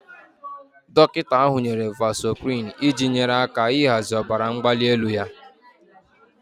Dọkịta ahụ nyere vasoprin iji nyere aka ịhazi ọbara mgbali elu ya